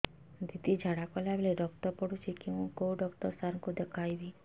ଦିଦି ଝାଡ଼ା କଲା ବେଳେ ରକ୍ତ ପଡୁଛି କଉଁ ଡକ୍ଟର ସାର କୁ ଦଖାଇବି